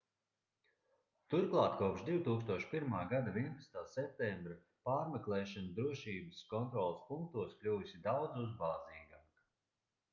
turklāt kopš 2001. gada 11. septembra pārmeklēšana drošības kontroles punktos kļuvusi daudz uzbāzīgāka